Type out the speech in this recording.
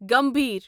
گمبھیر